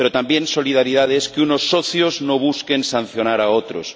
pero también solidaridad es que unos socios no busquen sancionar a otros.